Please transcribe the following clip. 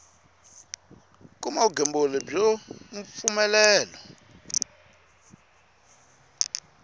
kuma vugembuli byo ha mpfumelelo